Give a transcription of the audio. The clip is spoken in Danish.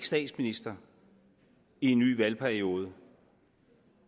statsminister i en ny valgperiode